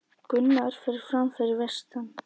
Gunnar fer fram fyrir vestan